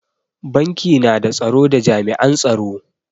Banki na da tsaro da jami'an tsaro.